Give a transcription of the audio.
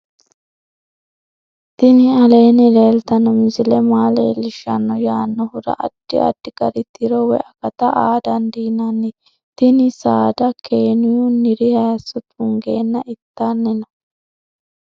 tini aleenni leeltanno misile maa leellishshanno yaannohura addi addi gari tiro woy akata aa dandiinanni tini saada kenyunniri hayso tunggeenna ittanni no